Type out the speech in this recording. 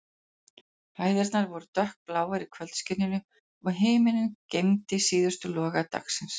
Hæðirnar voru dökkbláar í kvöldskininu, og himinninn geymdi síðustu loga dagsins.